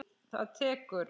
Það tekur